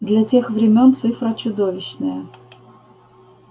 для тех времён цифра чудовищная